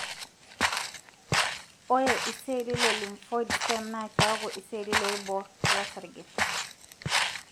ore iseli le lymphoid stem na kiaku iseli loibor losarge.